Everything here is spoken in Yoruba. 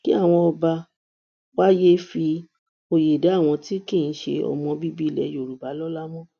kí àwọn ọba wa yéé fi òye dá àwọn tí tí kì í ṣe ọmọ bíbí ilẹ yorùbá lọlá mọ